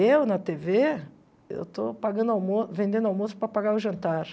Eu, na tê vê, eu estou pagando almoço vendendo almoço para pagar o jantar.